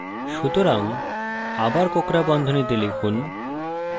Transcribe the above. সুতরাং আবার কোঁকড়া বন্ধনীতে লিখুন